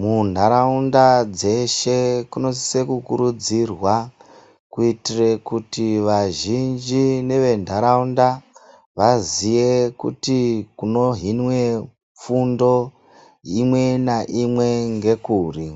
munharaunda dzeshe kunosise kukurudzirwa kuitire vazhinji neventaraunda vaziye kuti kunohinwe fundo imwe naimwe ngekuti.